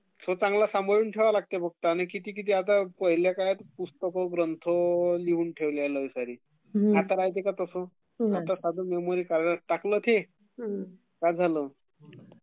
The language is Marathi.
चांगला सांभाळून ठेवावे लागते...आणि किती किती आता....पहिलं कायं पुस्तकं ग्रंथ लिहून ठेवलेले ..आता राहाते का तसं....आता साध मेमरी कार्ड टाकलं ते का झालं....